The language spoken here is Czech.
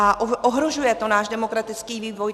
A ohrožuje to náš demokratický vývoj.